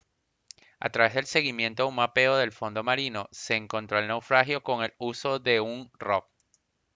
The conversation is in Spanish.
a través del seguimiento de un mapeo del fondo marino se encontró el naufragio con el uso de un rov